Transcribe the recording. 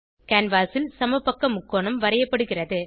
canvas ல் சமபக்க முக்கோணம் வரையப்படுகிறது